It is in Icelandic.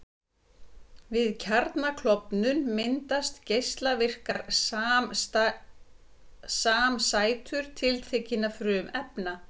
Við kjarnaklofnun myndast geislavirkar samsætur tiltekinna frumefna.